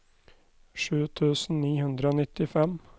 sju tusen ni hundre og nittifem